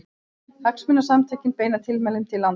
Hagsmunasamtökin beina tilmælum til lántaka